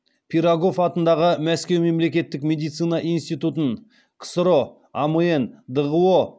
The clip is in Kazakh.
пирогов атындағы мәскеу мемлекеттік медицина институтын ксро амн дғо